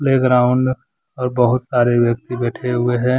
Playground और बहुत सारे व्यक्ति बैठे हुए है।